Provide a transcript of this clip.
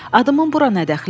Adımın bura nə dəxli var?